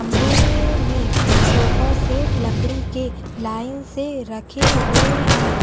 कमरे मे sofa set लकड़ी के लाइन से रखे हुए हैं।